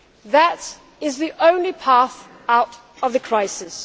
That is the only path out of the crisis.